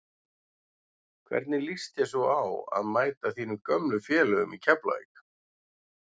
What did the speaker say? Hvernig lýst þér svo á að mæta þínum gömlu félögum í Keflavík?